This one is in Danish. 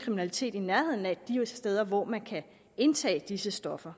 kriminalitet i nærheden af de steder hvor man kan indtage disse stoffer